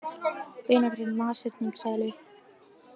Beinagrind nashyrningseðlu.